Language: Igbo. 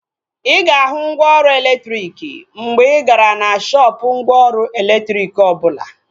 Ịga ahu mgwooru elektriki mgbe igara na shoopu mgwooru elektriki obula